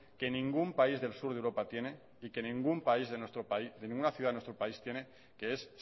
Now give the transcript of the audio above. que ningún país del sur de europa tiene y que ninguna ciudad de nuestro país tiene que es